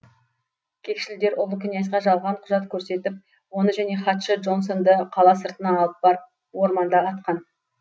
кекшілдер ұлы князьға жалған құжат көрсетіп оны және хатшы джонсонды қала сыртына алып барып орманда атқан